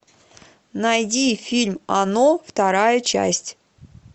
найди фильм оно вторая часть